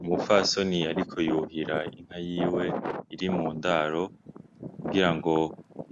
Umupfasoni yariko yuhira inka yiwe iri mu ndaro kugira ngo